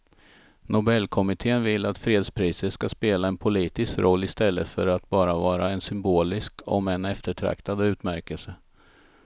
Nobelkommittén vill att fredspriset ska spela en politisk roll i stället för att bara vara en symbolisk om än eftertraktad utmärkelse.